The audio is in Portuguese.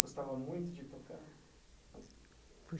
Gostava muito de tocar.